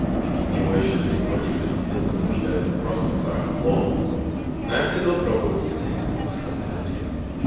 его ещё до сих пор никто не купил потому что это просто барахло но я приду опробую высылай адрес